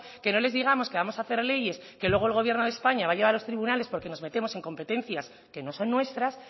que no les digamos que vamos a hacer leyes que luego el gobierno de españa va a llevar a los tribunales porque nos metemos en competencias que no son nuestras